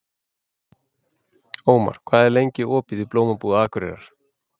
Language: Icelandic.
Ómar, hvað er lengi opið í Blómabúð Akureyrar?